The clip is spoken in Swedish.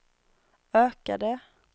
ökade